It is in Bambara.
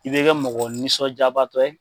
I bɛ kɛ mɔgɔ nisɔn jabatɔ ye.